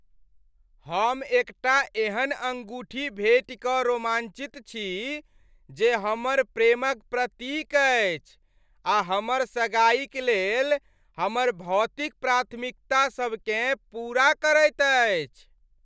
हम एकटा एहन अंगूठी भेटि कऽ रोमांचित छी जे हमर प्रेमक प्रतीक अछि आ हमर सगाईक लेल हमर भौतिक प्राथमिकतासभकेँ पूरा करैत अछि।